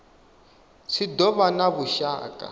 tshi do vha na vhushaka